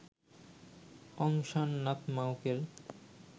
Aung San নাতমাউকের